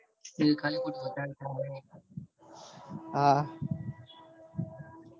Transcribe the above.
એ ખાલી હા હા